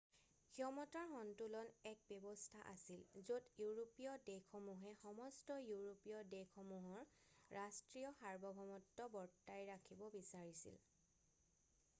ক্ষমতাৰ সন্তুলন এক ব্যৱস্থা আছিল য'ত ইউৰোপীয় দেশসমূহে সমস্ত ইউৰোপীয় দেশসমূহৰ ৰাষ্ট্ৰীয় সাৰ্বভৌমত্ব বৰ্তাই ৰাখিব বিচাৰিছিল